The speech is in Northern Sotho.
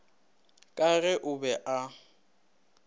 ka ge o be o